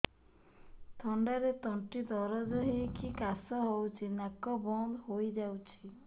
ଥଣ୍ଡାରେ ତଣ୍ଟି ଦରଜ ହେଇକି କାଶ ହଉଚି ନାକ ବନ୍ଦ ହୋଇଯାଉଛି